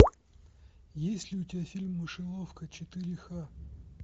есть ли у тебя фильм мышеловка четыре ха